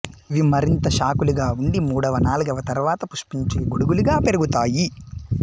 ఇవి మరింత శాఖలుగా ఉండి మూడవ నాల్గవ తరువాత పుష్పించే గొడుగులుగా పెరుగుతాయి